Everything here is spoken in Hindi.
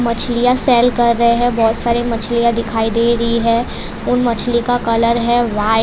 मछलियां सेल कर रहे है बहुत सारी मछलियां दिखाई दे रही है उन मछली का कलर है वाइ।